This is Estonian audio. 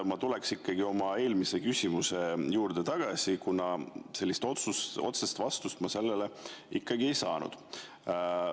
Ma tulen oma eelmise küsimuse juurde tagasi, kuna sellist otsest vastust ma sellele ikkagi ei saanud.